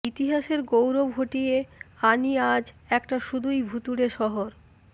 ইতিহাসের গৌরব হটিয়ে আনি আজ একটা শুধুই ভুতুরে শহর